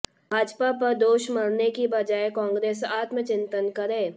भाजपा पर दोष मढने की बजाए कांग्रेस आत्मचिंतन करे